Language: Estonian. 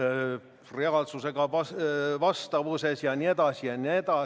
Kui 44 muudatusettepanekust 20 katteallikas on reserv, siis kas see on enamus või on kõik nii, nagu härra siin enne ütles?